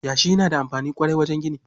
Yashi yana da amfani ƙwarai wajen gini.